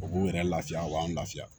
O b'u yɛrɛ lafiya o b'an lafiya